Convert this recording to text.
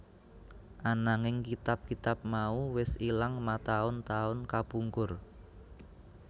Ananging kitab kitab mau wis ilang mataun taun kapungkur